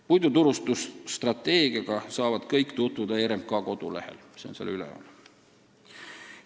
Puiduturustusstrateegiaga saavad kõik tutvuda RMK kodulehel, see on seal üleval.